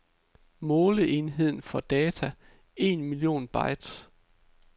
Måleenhed for data, en million bytes.